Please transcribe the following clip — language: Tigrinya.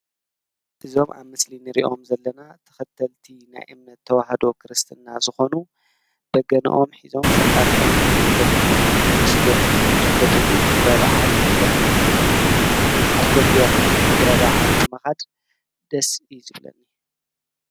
እዞም ኣብ ምስሊ እንሪኦም ዘለና ተኸተልቲ ናይ እምነት ተዋህዶ ክርስትና ዝኾኑ በገነኦም ሒዞም ፈጣሪኦም እናለመኑን እናመስገኑን ዝርከብሉ ክብረ በዓል እዩ ዘርእየና ዘሎ። ኣነ ኣብ ከምዚኦም ዓይነት ክብረበዓል ንምኻድ ደስ እዩ ዝበለኒ።